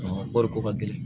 kɔɔri ko ka gɛlɛn